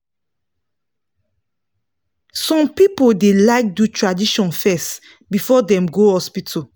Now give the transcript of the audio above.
some people da like do tradition fes before dem go hospital